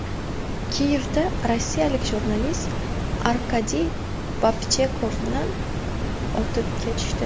Kiyevda rossiyalik jurnalist Arkadiy Babchenkoni otib ketishdi.